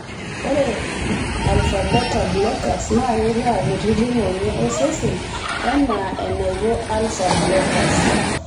Ore Alpha Beta Blockers naa keitaa kutiti ng'onyo osesen enaa enaiko alpha blockers.